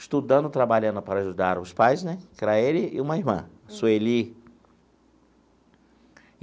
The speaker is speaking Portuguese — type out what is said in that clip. estudando, trabalhando para ajudar os pais né, que era ele e uma irmã, Sueli.